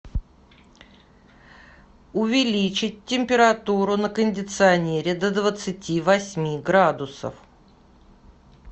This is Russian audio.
увеличить температуру на кондиционере до двадцати восьми градусов